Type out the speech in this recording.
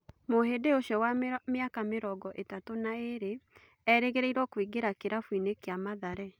Mũhĩ ndi ũcio wa mĩ aka mĩ rongo ĩ tatũ na ĩ rĩ erĩ gĩ rĩ irwo kũingĩ ra kĩ rabũ kĩ a Mathare